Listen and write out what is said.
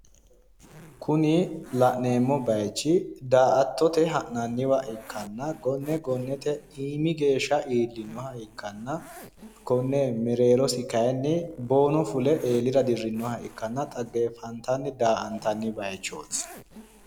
Kuni la'neemmo baayichi daa"attote ha'nanniwa ikkanna gonne gonnete iimi geeshsha iillinoha ikkanna konne mereerosi kayiinni boono fule eelira dirrinoha ikkanna xaggeffantanni daa"antanni bayiichooti.